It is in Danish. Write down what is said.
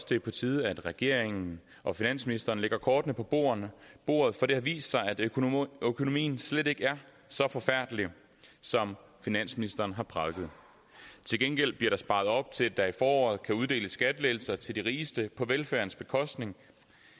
det er på tide at regeringen og finansministeren lægger kortene på bordet bordet for det har vist sig at økonomien økonomien slet ikke er så forfærdelig som finansministeren har prædiket til gengæld bliver der sparet op til at der i foråret kan uddeles skattelettelser til de rigeste på velfærdens bekostning